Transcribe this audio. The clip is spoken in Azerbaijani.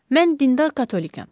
Mən dindar katolikəm.